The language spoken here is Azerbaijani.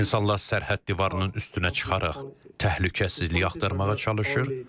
İnsanlar sərhəd divarının üstünə çıxaraq təhlükəsizlik axtarmağa çalışır.